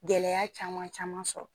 Gɛlɛya caman caman sɔrɔ